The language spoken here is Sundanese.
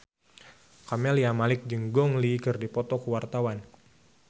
Camelia Malik jeung Gong Li keur dipoto ku wartawan